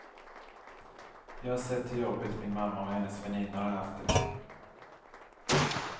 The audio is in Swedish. Jag har sett hur jobbigt min mamma och hennes väninnor har haft det.